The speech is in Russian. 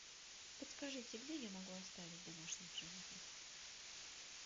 подскажите где я могу оставить домашних животных